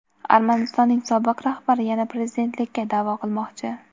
Armanistonning sobiq rahbari yana prezidentlikka da’vo qilmoqchi.